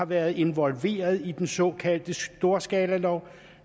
været involveret i den såkaldte storskalalov